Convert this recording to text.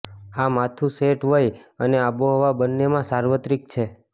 આ માથું સેટ વય અને આબોહવા બંનેમાં સાર્વત્રિક છે